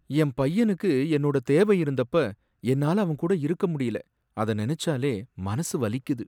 என் பையனுக்கு என்னோட தேவை இருந்தப்ப என்னால அவன் கூட இருக்க முடியல, அத நினைச்சாலே மனசு வலிக்குது